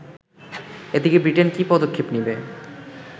এদিকে ব্রিটেন কী পদক্ষেপ নেবে